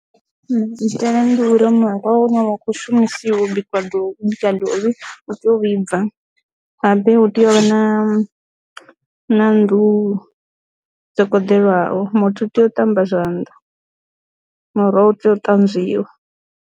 Maitele ndi uri muroho wa kho shumisiwa bikwa ḓo bika dovhi u tea u vhibva habe hu tea u vha na na nnḓu dzo kunḓelwaho muthu u tea u ṱamba zwanḓa muroho u tea u tanzwiwa.